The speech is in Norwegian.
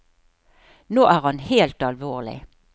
Nå er han helt alvorlig.